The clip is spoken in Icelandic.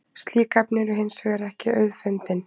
Slík efni eru hins vegar ekki auðfundin.